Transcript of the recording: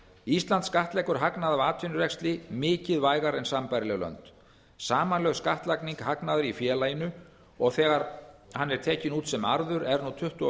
ísland skattleggur hagnað af atvinnurekstri mikið vægar en sambærileg lönd samanlagt skattlagning hagnaðar í félaginu og þegar hann er tekinn út sem arður er nú tuttugu og